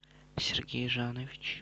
сергей жанович